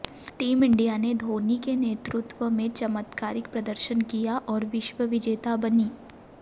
team India ने धोनी के नेतृत्व में चमत्कारिक प्रदर्शन किया और विश्वविजेता बनी